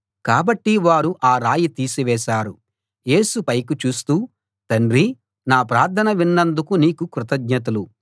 కాబట్టి వారు ఆ రాయి తీసి వేశారు యేసు పైకి చూస్తూ తండ్రీ నా ప్రార్థన విన్నందుకు నీకు కృతజ్ఞతలు